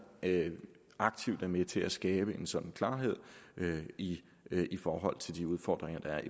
aktivt er med til at skabe en sådan klarhed i forhold til de udfordringer der er